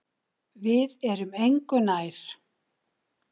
Við erum engu nær.